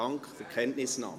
Dank für die Kenntnisnahme.